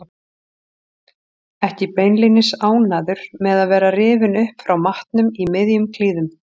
Ekki beinlínis ánægður með að vera rifinn upp frá matnum í miðjum klíðum.